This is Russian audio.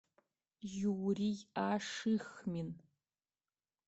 юрий ашихмин